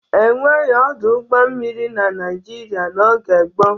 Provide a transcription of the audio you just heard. E nweghi ọdụ ụgbọ mmiri na Naịjirịa n'oge gboo.